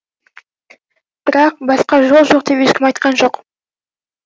бірақ басқа жол жоқ деп ешкім айтқан жоқ